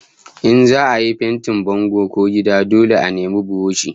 In za'a yi fentin bango ko gida dole a nemi buroshi